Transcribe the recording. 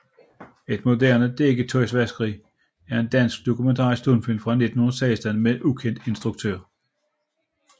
Et moderne Dækketøjsvaskeri er en dansk dokumentarisk stumfilm fra 1916 med ukendt instruktør